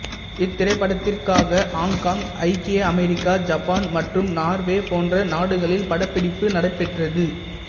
இத்திரைப்படத்திற்காக Hong Kong ஐக்கிய America Japan மற்றும் Norway போன்ற நாடுகளில் படப்பிடிப்பு நடைபெற்றது